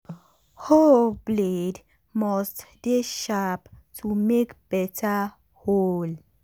hoe blade must dey sharp to make beta hole.